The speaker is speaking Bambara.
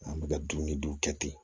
An bɛ ka dumuni dun kɛ ten